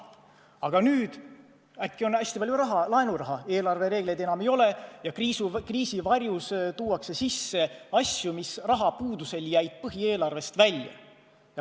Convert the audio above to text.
Aga nüüd on äkki hästi palju laenuraha, eelarvereegleid enam ei ole ja kriisi varjus lülitatakse sisse asju, mis rahapuuduse tõttu jäid põhieelarvest välja.